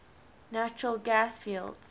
natural gas fields